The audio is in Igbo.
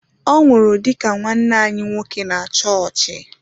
Ọ nwụrụ dị ka nwanne anyi nwoke na chọọchị.